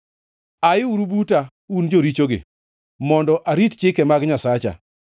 Ayiuru buta, un jorichogi, mondo arit chike mag Nyasacha!